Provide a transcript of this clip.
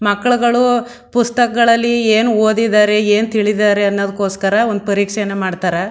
ಮಕ್ಕಳುಗಳೂ ಪುಸ್ತಕಗಲ್ಲಲಿ ಏನು ಓದಿದರೆ ಏನು ತಿಳಿದಿದರೆ ಅನುಕೋಸ್ಕರ ಒಂದು ಪರೀಕ್ಷೆನ ಮಾಡ್ತಾರೆ.